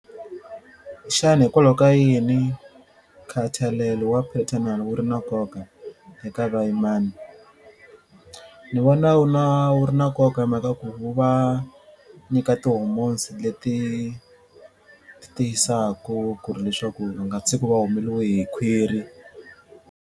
Xana hikwalaho ka yini nkhathalelo wa paternal wu ri na nkoka eka vuyimana? Ni vona wu na wu ri na nkoka hi mhaka ku wu nyika ti-hormones leti tiyisaku ku ri leswaku u nga tshiki u va u humeliwe hi khwiri.